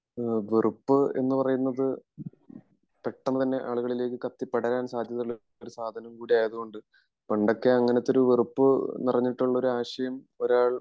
വെറുപ്പ് എന്ന് പറയുന്നത് പെട്ടന്ന് തന്നെ ആളുകളിലേക് കത്തി പടരാൻ സാധ്യത ഉള്ളൊരു സാധനം കൂടി ആയത് കൊണ്ട് പണ്ടൊക്കെ അങ്ങിനത്തൊരു വെറുപ്പ് നിറഞ്ഞിട്ടുള്ള ഒരു ആശയം ഒരാൾ